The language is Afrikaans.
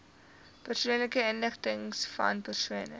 persoonlike inligtingvan persone